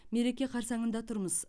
мереке қарсаңында тұрмыз